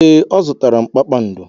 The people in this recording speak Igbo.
Ee, ọ zụtara mkpado.